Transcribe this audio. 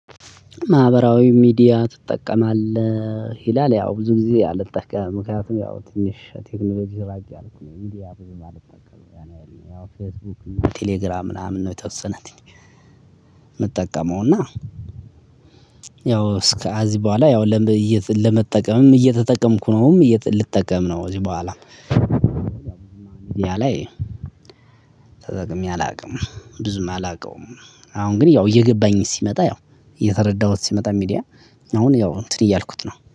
ማህበራዊ ሚዲያ ትጠቀማለህ ይላል ያው ብዙ ጊዜ አልጠቀምም ምክንያቱም ያው ትንሽ ቴክኖሎጂ ራቅ ያልኩኝ ሚዲያ ብዙም አልጠቀምም ያን ያህል ያኔ ያው ፌስቡክ ቴሌግራም ምናምን ነው። የተወሰነ ምጠቀመው እና ያው እስከ አዚ በኋላ ያው ለመጠቀምም እየተጠቀምኩ ነውም ልጠቀም ነው። እዚህ በኋላ ሚዲያ ላይ ተጠቅሜ አላውቅም ብዙም አላውቀውም። አሁን ግን ያው እየገባኝ ሲመጣ ያው እየተረዳሁት ሲመጣ ሚዲያ አሁን ያው እንትን እያልኩት ነው